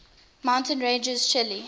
mountain ranges of chile